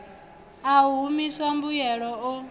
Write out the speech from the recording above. a u humisa mbuyelo o